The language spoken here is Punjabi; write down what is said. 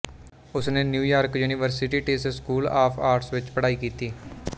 ਉਸਨੇ New York University Tisch School of Arts ਵਿੱਚ ਪੜ੍ਹਾਈ ਕੀਤੀ